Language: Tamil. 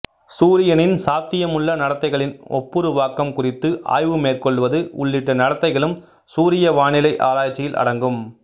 சூரியனின் சாத்தியமுள்ள நடத்தைகளின் ஒப்புருவாக்கம் குறித்து ஆய்வுமேற்கொள்வது உள்ளிட்ட நடத்தைகளும் சூரிய வானிலை ஆராய்ச்சியில் அடங்கும்